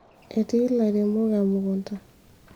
eti ilairemok emukunta